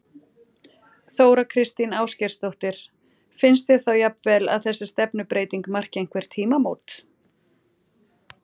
Þóra Kristín Ásgeirsdóttir: Finnst þér þá jafnvel að þessi stefnubreyting marki einhver tímamót?